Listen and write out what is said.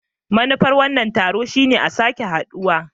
Manufar wannan taro shine a sake haduwa.